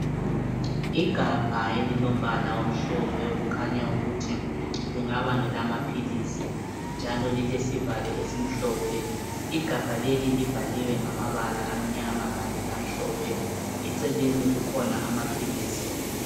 Igabha elilombala omhlophe okhanya ukuthi lingaba ngelamaphilisi njalo lilesivalo esimhlophe igabha leli libhaliwe ngamabala amnyama kanye lamhlophe eceleni kukhona amaphilisi.